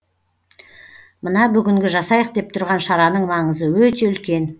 мына бүгінгі жасайық деп тұрған шараның маңызы өте үлкен